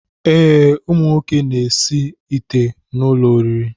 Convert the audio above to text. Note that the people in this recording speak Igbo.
Ee, ụmụnwoke na-esi ite n'ụlọoriri